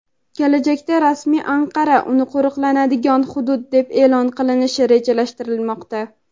Kelajakda rasmiy Anqara uni qo‘riqlanadigan hudud deb e’lon qilishni rejalashtirmoqda.